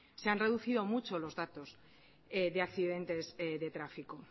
se han reducido mucho los datos de accidentes de tráfico